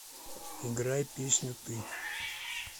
играй песню ты